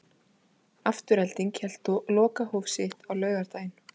Afturelding hélt lokahóf sitt á laugardaginn.